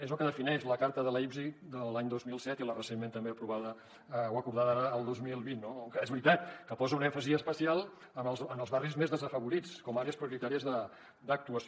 és el que defineix la carta de leipzig de l’any dos mil set i la recentment també aprovada o acordada ara el dos mil vint no que és veritat que posa un èmfasi especial en els barris més desafavorits com a àrees prioritàries d’actuació